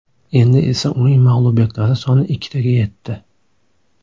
Endi esa uning mag‘lubiyatlari soni ikkitaga yetdi.